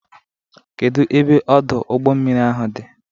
Kedu ebe Ọdụ ụgbọ mmiri ahụ dị?